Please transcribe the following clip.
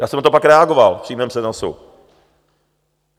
Já jsem na to pak reagoval v přímém přenosu.